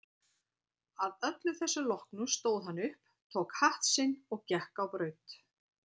Að öllu þessu loknu stóð hann upp, tók hatt sinn og gekk á braut.